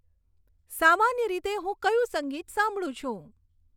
સામાન્ય રીતે હું કયું સંગીત સાંભળું છું